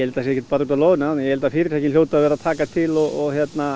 það sé ekkert bara út af loðnu ég held að fyrirtæki hljóti að vera að taka til og